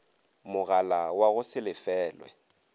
mogala wa go se lefelwe